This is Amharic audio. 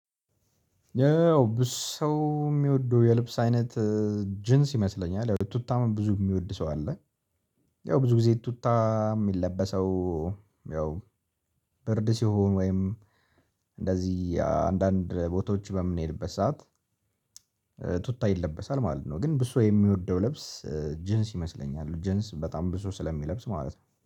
ያው ብዙ ሰው የሚወደው የልብስ አይነት ጅንስ ይመስለኛል። ያው ቱታም ብዙ የሚወድ ሰው አለ። ያው ብዙ ጊዜ ቱታ የሚለበሰው ያው ብርድ ሲሆን ወይም እንደዚህ አንዳንድ ቦታዎች በምንሄድበት ሰዓት። ቱታ ይለበሳል ማለት ነው። ግን ብዙ የሚወደው ልብስ ጅንስ ይመስለኛል። ጅንስ በጣም ብዙ ስለሚለብስ ማለት ነው